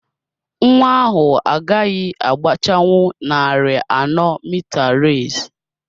Nwa ahụ agaghị agbachanwu narị ano Metre race.